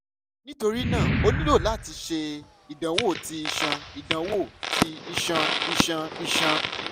nitorina o nilo lati ṣe idanwo ti iṣan idanwo ti iṣan iṣan iṣan